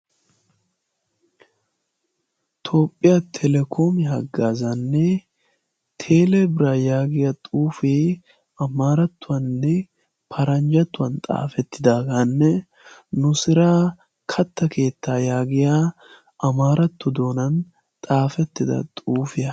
toophphiyaa telekoomi haggaazaanne teelebira yaagiya xuufie amaarattuwaanne paranjjatuwan xaafettidaagaanne nu siraa katta keettaa yaagiya amaarattu doonan xaafettida xuufiyaa